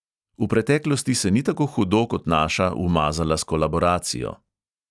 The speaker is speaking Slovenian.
V preteklosti se ni tako hudo kot naša umazala s kolaboracijo.